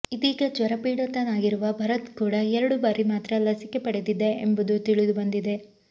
ಇದೀಗ ಜ್ವರಪೀಡಿತನಾಗಿರುವ ಭರತ್ ಕೂಡ ಎರಡು ಬಾರಿ ಮಾತ್ರ ಲಸಿಕೆ ಪಡೆದಿದ್ದ ಎಂಬುದು ತಿಳಿದುಬಂದಿದೆ